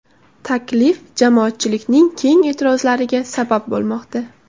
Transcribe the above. Taklif jamoatchilikning keng e’tirozlariga sabab bo‘lmoqda.